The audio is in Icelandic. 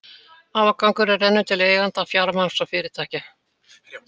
Afgangurinn rennur til eigenda fjármagns og fyrirtækja.